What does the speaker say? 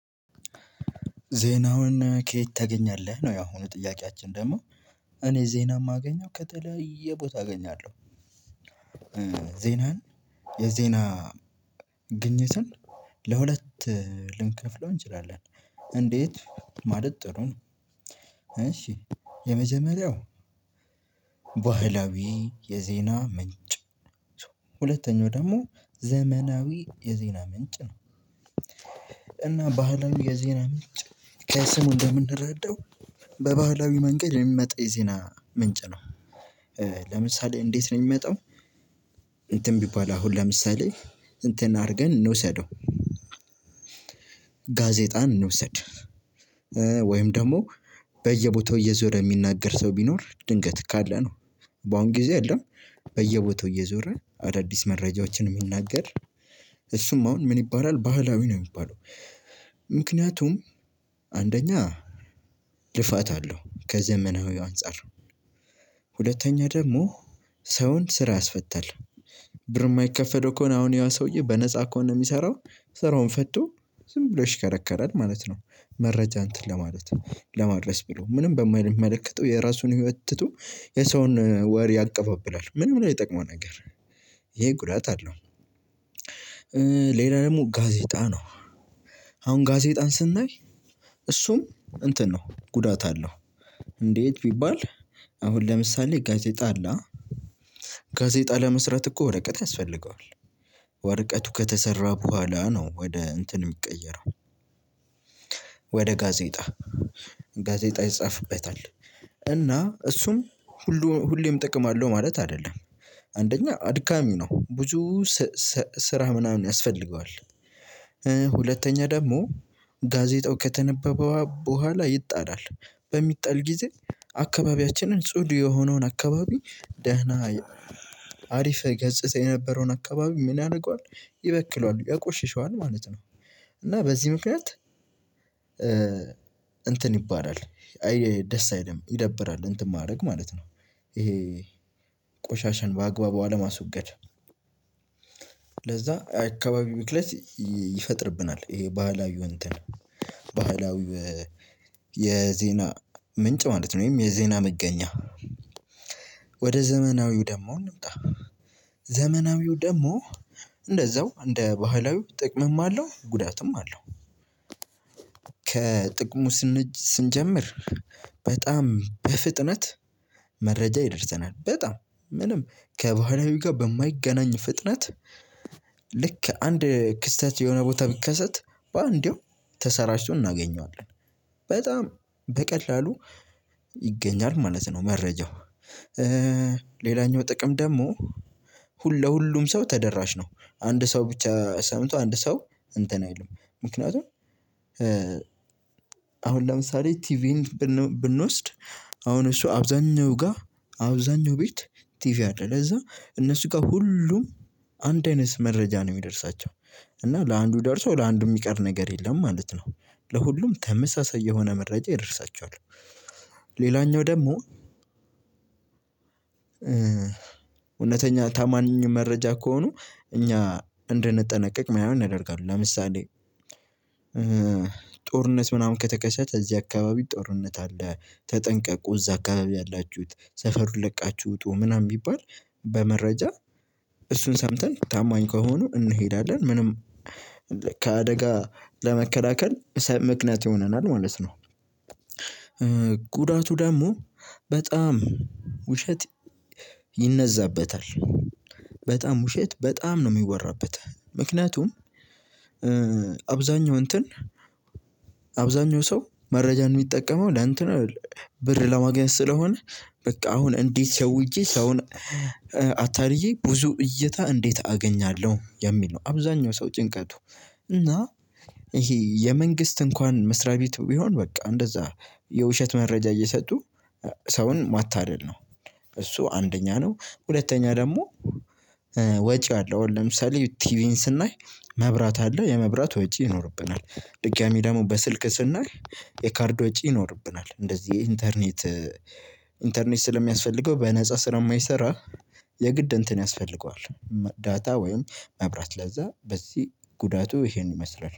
ዜናውን ከየት ታገኛለህ ነው? ያሁኑ ጥያቄአችን ደግሞ እኔ ዜና እማገኘው ከተለየ ቦታ አገኛለሁ። ዜናን የዜና ግኝትን ለሁለት ልንከፍለው እንችላለን። እንዴት ማለት ጥሩ ነው? እሺ የመጀመሪያው ባህላዊ የዜና ምንጭ። ሁለተኛው ደግሞ ዘመናዊ የዜና ምንጭ ነው። እና ባህላዊ የዜና ምንጭ ከስሙ እንደምንረዳው በባህላዊ መንገድ የሚመጣ የዜና ምንጭ ነው። ለምሳሌ እንዴት ነው እሚመጣው? እንትን ቢባል አሁን ለምሳሌ እንትን አድርገን እንውሰደው። ጋዜጣን እንውሰድ። ወይም ደግሞ በየቦታው እየዞረ የሚናገር ሰው ቢኖር ድንገት ካለ ነው። በአሁን ጊዜ አይደለም። በየቦታው እየዞረ አዳዲስ መረጃዎችን እሚናገር እሱም አሁን ምን ይባላል ባህላዊ ነው የሚባለው። ምክንያቱም አንደኛ ልፋት አለው ከዘመናዊው አንፃር። ሁለተኛ ደግሞ ሰውን ስራ ያስፈታል። ብር እማይከፈለው እማይከፈለው ከሆነ ያሰውዬ በነፃ ከሆነ እሚሰራው እሚሰራው ስራውን ፈቶ ዝም ብሎ ይሽከረከራል ማለት ነው። መረጃ እንትን ለማለት ለማድረስ ብሎ ምንም በማይመለከተው የራሱን ህይወት ትቶ የሰውን ወሬ ያቀባብላል ምንም ላይ የጠቀመው ነገር ይሄ ጉዳት አለው። ሌላ ደግሞ ጋዜጣ ነው። አሁን ጋዜጣን ስናይ እሱም እንትን ነው ጉዳት አለው። እንዴት ቢባል አሁን ለምሳሌ ጋዜጣ አለ። ጋዜጣ ለመስራት እኮ ወረቀት ያስፈልገዋል። ወረቀቱ ከተሰራ በኋላ ነው ወደ እንትን የሚቀየረው። ወደ ጋዜጣ ጋዜጣ ይጻፍበታል እና እሱም ሁሉም ሁሌም ጥቅም አለው ማለት አይደለም። አንደኛ ድካሚ ነው ብዙ ስራ ምናምን ያስፈልገዋል። ሁለተኛ ደግሞ ጋዜጣው ከተነበበው በኋላ ይጣላል። በሚጣል ጊዜ አካባቢያችንን ጽዱ የሆነውን አካባቢ ደህና አሪፍ ገጽታ የነበረውን አካባቢ ምን ያደርገዋል ይበክለዋል ያቆሽሸዋል ማለት ነው። እና በዚህ ምክንያት እንትን ይባላል አይ ደስ አይልም ይደብራል እንትን ማድረግ ማለት ነው። ይሄ ቆሻሻን በአግባቡ አለማስወገድ ለዛ አካባቢ ብክለት ይፈጥርብናል። ይሄ ባህላዊው እንትን ባህላዊው የዜና ምንጭ ማለት ነው ወይም የዜና መገኛ። ወደ ዘመናዊው ደግሞ እንምጣ ዘመናዊው ደግሞ እንደዛው እንደ ባህላዊው ጥቅምም አለው ጉዳትም አለው። ከጥቅሙ ስንጀምር በጣም በፍጥነት መረጃ ይደርሰናል በጣም ምንም ከባህላዊ ጋር በማይገናኝ ፍጥነት። ልክ አንድ ክስተት የሆነ ቦታ ቢከሰት በአንዴው ተሰራጭቶ እናገኘዋለን በጣም በቀላሉ ይገኛል ማለት ነው። መረጃው ሌላኛው ጥቅም ደግሞ ሁሉ ለሁሉም ሰው ተደራሽ ነው። አንድ ሰው ብቻ ሰምቶ አንድ ሰው እንትን አይልም። ምክንያቱም አሁን ለምሳሌ ቲቪን ብንወስድ አሁን እሱ አብዛኛው ጋር አብዛኛው ቤት ቲቪ አለ ለዛ እነሱ ጋር ሁሉም አንድ አይነት መረጃ ነው እሚደርሳቸው እና ለአንዱ ደርሶ ለአንዱ እሚቀር ነገር የለም ማለት ነው። ለሁሉም ተመሳሳይ የሆነ መረጃ ይደርሳቸዋል። ሌላኛው ደግሞ እውነተኛ ታማኝ መረጃ ከሆኑ እኛ እንደነጠነቀቅ እማይሆን ያደርጋሉ። ለምሳሌ ጦርነት ምናምን ከተከሰተ እዚህ አካባቢ ጦርነት አለ ተጠንቀቁ እዛ አካባቢ ያላችሁት ሰፈሩን ለቃችሁ ውጡ ምናምን ቢባል በመረጃ እሱን ሰምተን ታማኝ ከሆኑ እንሄዳለን ምንም ከአደጋ ለመከላከል ምክንያት ይሆነናል ማለት ነው። ጉዳቱ ደግሞ በጣም ውሸት ይነዛበታል በጣም ውሸት በጣም ነው እሚወራበት ምክንያቱም። አብዛኛው እንትን አብዛኛው ሰው መረጃን እሚጠቀመው ለእንትን አይደለም ብር ለማግኘት ስለሆነ በቃ አሁን እንዴት ሸወጀ ሰውን አታልዬ ብዙ እይታ እንዴት አገኛለሁ የሚል ነው። አብዛኛው ሰው ጭንቀቱ እና ይሄ የመንግስት እንኳን መስሪያ ቤት ቢሆን በቃ እንደዛ የውሸት መረጃ እየሰጡ ሰውን ማታደል ነው። እሱ አንደኛ ነው። ሁለተኛ ደግሞ ወጪ አለ። አሁን ለምሳሌ ቲቪን ስናይ መብራት አለ የመብራት ወጪ ይኖርብናል። ድጋሚ ደግሞ በስልክ ስናይ የካርድ ወጪ ይኖርብናል። እንደዚህ ኢንተርኔት ኢንተርኔት ስለሚያስፈልገው በነፃ ስለማይሰራ የግድ እንትን ያስፈልገዋል። ዳታ ወይም መብራት ለዛ በዚህ ጉዳቱ ይሄን ይመስላል